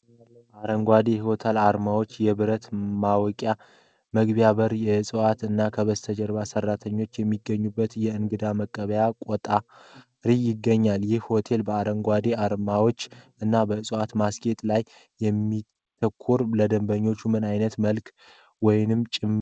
አረንጓዴ የሆቴል አርማዎች፣ የብረት ማወቂያ መግቢያ በር፣ እፅዋት፣ እና ከበስተጀርባ ሰራተኞች የሚገኙበት የእንግዳ መቀበያ ቆጣሪ ይገኛል። ይህ ሆቴል በአረንጓዴ አርማዎች እና በእፅዋት ማስጌጥ ላይ የሚያተኩረው፣ ለደንበኞቹ ምን አይነት መልዕክት ወይም ጭብጥ ለማስተላለፍ ይሞክራል?